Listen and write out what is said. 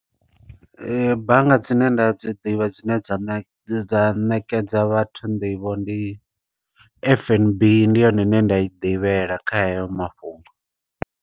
Bannga dzine nda dzi ḓivha, dzine dza dza ṋekedza vhathu nḓivho, ndi F_N_B ndi yone ine nda i ḓivhela kha heyo mafhungo.